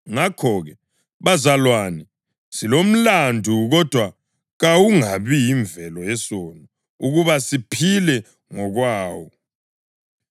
Ngakho-ke, bazalwane, silomlandu, kodwa kawungabi yimvelo yesono ukuba siphile ngokwawo.